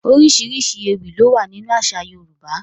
There are various kinds of poems in Yoruba culture